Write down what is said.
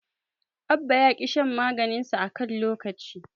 Abba ya ƙi shan maganinsa a kan lokaci.